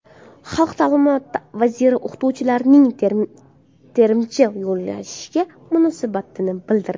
Xalq ta’limi vaziri o‘qituvchilarning terimchi yollashiga munosabatini bildirdi.